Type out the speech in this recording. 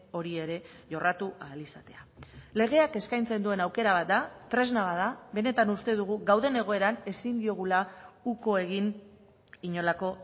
hori ere jorratu ahal izatea legeak eskaintzen duen aukera bat da tresna bat da benetan uste dugu gauden egoeran ezin diogula uko egin inolako